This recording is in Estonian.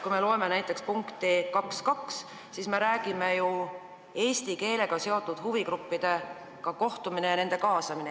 Kui me loeme näiteks punkti 2.2, siis me näeme, et seal on kirjas eesti keelega seotud huvigruppidega kohtumine ja nende kaasamine.